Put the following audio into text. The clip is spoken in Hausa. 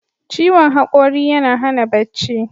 Ciwon haƙori yana hana bacci.